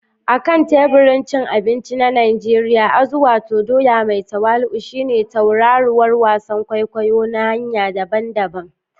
A kan teburin cin abinci na Najeriya, azu, wato doya mai tawali'u, shine tauraruwar wasan kwaikwayo ta hanyoyi daban-daban.